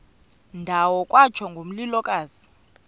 ndawo kwatsho ngomlilokazi